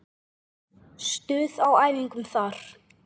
Stuð á æfingum þar!